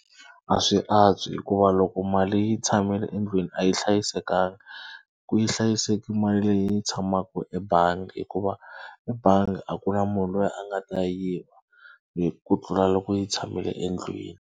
A swi antswi hikuva loko mali yi tshamile endlwini a yi hlayisekanga. Ku yi hlayiseki mali leyi yi tshamaka ebangi hikuva ebangi a ku na munhu loyi a nga ta yiva hi ku tlula loko yi tshamile endlwini.